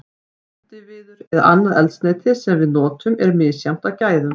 Eldiviður eða annað eldsneyti sem við notum er misjafnt að gæðum.